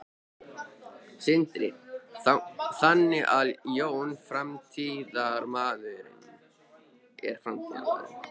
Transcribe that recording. Sindri: Þannig að Jón er framtíðarmaðurinn?